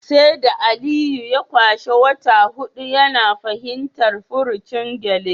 Sai da Aliyu ya kwashe wata hudu yana fahimtar furucin gyale